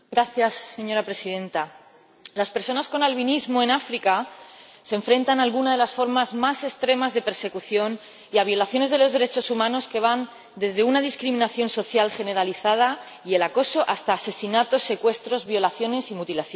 Señora Presidenta, en África, las personas con albinismo se enfrentan a alguna de las formas más extremas de persecución y a violaciones de los derechos humanos que van desde una discriminación social generalizada y el acoso hasta asesinatos, secuestros, violaciones y mutilaciones.